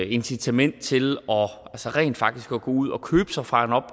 incitament til rent faktisk at gå ud og købe sig fra